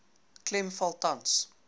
klem val tans